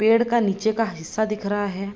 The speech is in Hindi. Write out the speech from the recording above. पेड़ का नीचे का हिस्सा दिख रहा है।